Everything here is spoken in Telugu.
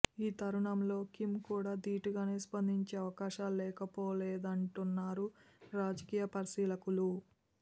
ఈ తరుణంలో కిమ్ కూడ ధీటుగానే స్పందించే అవకాశాలు లేకపోలేదంటున్నారు రాజకీయ పరిశీలకులు